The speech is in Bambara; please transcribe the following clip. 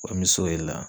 Komi so ye la